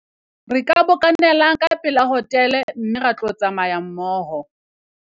re ka bokanelang ka pela hotele mme ra tlo tsamayang mmoho